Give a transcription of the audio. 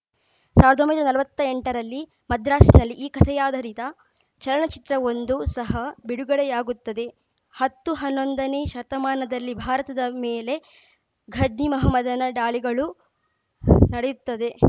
ಸಾವಿರದ ಒಂಬೈನೂರ ನಲ್ವತ್ತೆಂಟರಲ್ಲಿ ಮದ್ರಾಸಿನಲ್ಲಿ ಈ ಕಥೆಯಾಧಾರಿತ ಚಲನಚಿತ್ರವೊಂದೂ ಸಹ ಬಿಡುಗಡೆಯಾಗುತ್ತದೆ ಹತ್ತು ಹನ್ನೊಂದನೇ ಶತಮಾನದಲ್ಲಿ ಭಾರತದ ಮೇಲೆ ಘಜ್ನಿ ಮೊಹಮ್ಮದನ ಡಾಳಿಗಳು ನಡೆಯುತ್ತದೆ